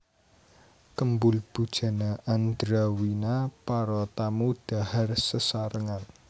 Kembul Bujana Andrawina Para tamu dhahar sesarengan